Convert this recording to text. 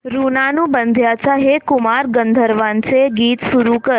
ऋणानुबंधाच्या हे कुमार गंधर्वांचे गीत सुरू कर